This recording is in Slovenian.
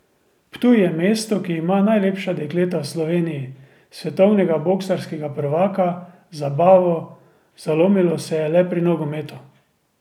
Ptuj je mesto, ki ima najlepša dekleta v Sloveniji, svetovnega boksarskega prvaka, zabavo, zalomilo se je le pri nogometu.